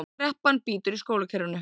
Kreppan bítur í skólakerfinu